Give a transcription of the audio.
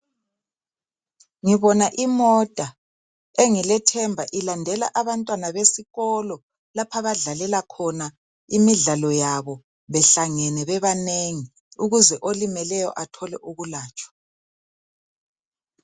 Ngibona imota engilethemba ilandela abantwana besikolo lapha badlalela khona imidlalo yabo behlangene bebanengi ukuze olimeleyo athole ukulatshwa .